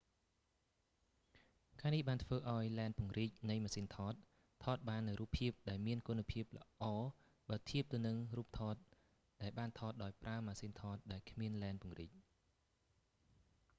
ការនេះបានធ្វើឱ្យលែនពង្រីកនៃម៉ាស៊ីនថត ថតបាននូវរូបភាពដែលមានគុណភាពល្អបើធៀបទៅនឹងរូបថតដែលបានថតដោយប្រើម៉ាស៊ីនថតដែលគ្មានលែនពង្រីក